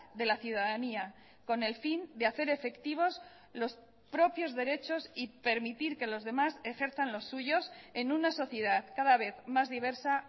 de la ciudadanía con el fin de hacer efectivos los propios derechos y permitir que los demás ejerzan los suyos en una sociedad cada vez más diversa